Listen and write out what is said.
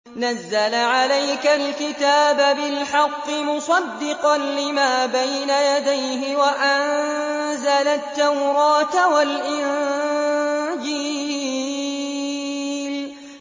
نَزَّلَ عَلَيْكَ الْكِتَابَ بِالْحَقِّ مُصَدِّقًا لِّمَا بَيْنَ يَدَيْهِ وَأَنزَلَ التَّوْرَاةَ وَالْإِنجِيلَ